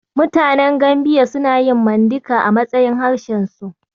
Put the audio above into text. Mutanen Gambiya suna yin Mandinka a matsayin harshensu.